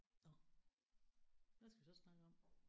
Nåh hvad skal vi så snakke om?